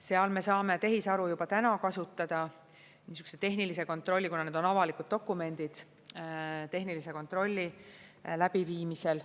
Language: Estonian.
Seal me saame tehisaru juba täna kasutada, kuna need on avalikud dokumendid, siis tehnilise kontrolli läbi viimisel.